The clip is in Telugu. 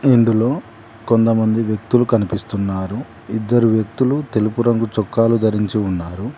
ఇందులో కొంతమంది వ్యక్తులు కనిపిస్తున్నారు ఇద్దరు వ్యక్తులు తెలుపురంగు చొక్కాలు ధరించి ఉన్నారు.